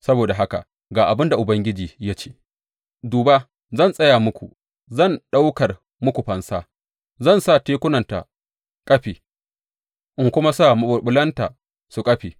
Saboda haka ga abin da Ubangiji ya ce, Duba, zan tsaya muku, zan ɗaukar muku fansa, zan sa tekunta kafe in kuma sa maɓulɓulanta su ƙafe.